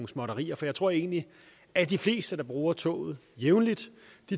småtterier for jeg tror egentlig at de fleste der bruger toget jævnligt